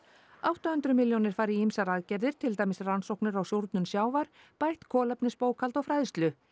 átta hundruð milljónir fara í ýmsar aðgerðir til dæmis rannsóknir á súrnun sjávar bætt kolefnisbókhald og fræðslu